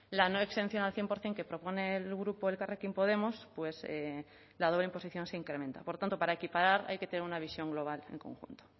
la no exención al cien por ciento que propone el grupo elkarrekin podemos pues la doble imposición se incrementa por tanto para equiparar hay que tener una visión global en conjunto